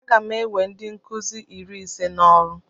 Aga m ewe ndi nkuzi iri ise n'ọrụ